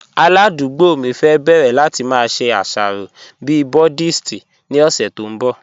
Aládùgbò mi fẹ́ bẹ̀rẹ̀ láti má ṣe iṣàrọ̀ bí Buddhist ni ọ̀ṣẹ̀ tó nbọ̀.